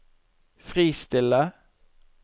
fristille